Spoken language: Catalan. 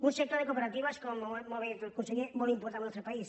un sector de cooperatives com molt bé ha dit el conseller molt important al nostre país